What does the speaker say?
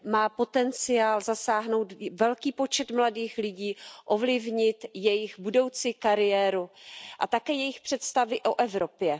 Má potenciál zasáhnout velký počet mladých lidí, ovlivnit jejich budoucí kariéru a také jejich představy o Evropě.